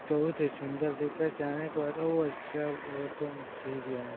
बहुत ही सुंदर दिख --]